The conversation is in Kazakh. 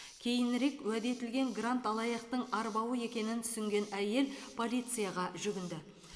кейінірек уәде етілген грант алаяқтың арбауы екенін түсінген әйел полицияға жүгінді